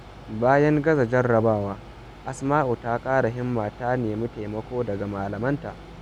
Bayan gaza jarrabawa, Asma’u ta ƙara himma kuma ta nemi taimako daga malamanta.